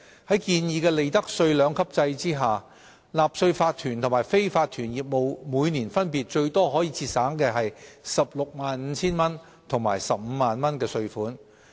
在建議的利得稅兩級制下，納稅法團和非法團業務每年分別最多可節省 165,000 元和 150,000 元稅款。